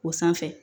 O sanfɛ